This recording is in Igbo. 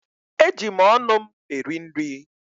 Eji m ọnụ m eri nri.